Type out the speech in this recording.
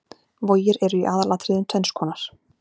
Vogir eru í aðalatriðum tvenns konar.